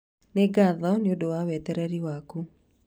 Nĩ ngatho nĩ ũndũ wa wetereri waku